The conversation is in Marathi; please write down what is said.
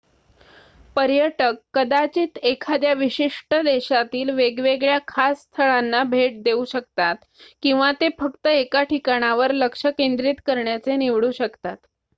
पर्यटक कदाचित एखाद्या विशिष्ट देशातील वेगवेगळ्या खास स्थळांना भेट देऊ शकतात किंवा ते फक्त एका ठिकाणावर लक्ष केंद्रित करण्याचे निवडू शकतात